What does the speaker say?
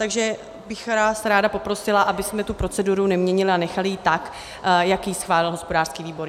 Takže bych vás ráda poprosila, abychom tu proceduru neměnili a nechali ji tak, jak ji schválil hospodářský výbor.